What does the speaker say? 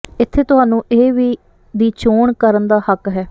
ਇੱਥੇ ਤੁਹਾਨੂੰ ਇਹ ਵੀ ਦੀ ਚੋਣ ਕਰਨ ਦਾ ਹੱਕ ਹੈ